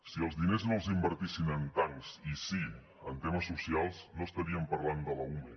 si els diners no els invertissin en tancs i sí en temes socials no estaríem parlant de l’ume